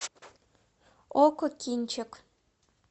окко кинчик